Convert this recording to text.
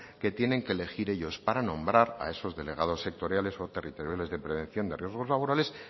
que tienen que elegir ellos para nombrar a esos delegados sectoriales o territoriales de prevención de riesgos laborales